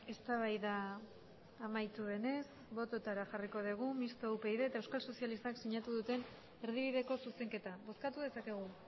eztabaida amaitu denez botoetara jarri dugu mistoa upyd eta euskal sozialistak sinatu duten erdibideko zuzenketa bozkatu dezakegu